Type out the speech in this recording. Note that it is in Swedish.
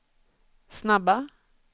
snabba